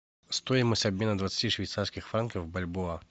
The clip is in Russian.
стоимость обмена двадцати швейцарских франков бальбоа